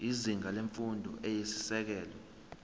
izinga lemfundo eyisisekelo